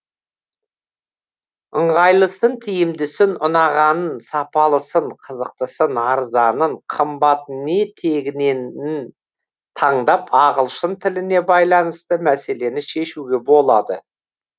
ыңғайлысын тиімдісін ұнағанын сапалысын қызықтысын арзанын қымбатын не тегіненің таңдап ағылшын тіліне байланысты мәселені шешуге болады